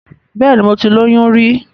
Bẹ́ẹ̀ni, mo ti lóyún rí.